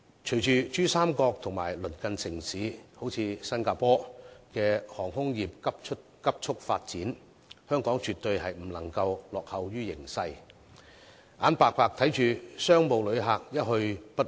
隨着珠三角及鄰近城市如新加坡等在航空方面急速發展，香港絕對不能夠落後於形勢，眼巴巴看着商務旅客一去不返。